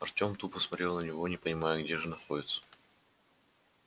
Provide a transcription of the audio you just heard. артём тупо смотрел на него не понимая где же находится